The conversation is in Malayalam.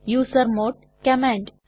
user mode command